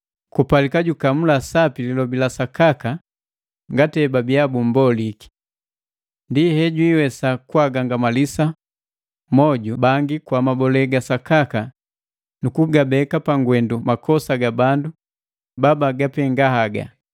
Kupalika jukamula sapi lilobi la sakaka ngati hebabia bummboliki. Ndi hejwiiwesa kwaagagangamalisa moju bangi kwa mabole ga sakaka nu kugabeka pangwendu makosa ga bandu babagapenga haga.